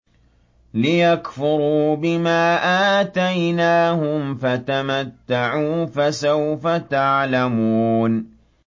لِيَكْفُرُوا بِمَا آتَيْنَاهُمْ ۚ فَتَمَتَّعُوا ۖ فَسَوْفَ تَعْلَمُونَ